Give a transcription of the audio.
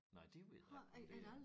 Nej det ved jeg ikke om det er